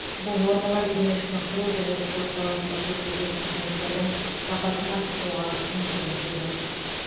бұл нормалар дене шынықтыру және спорт саласында көрсетілетін қызметтердің сапасын арттыруға мүмкіндік береді